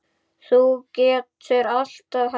Þú getur alltaf hætt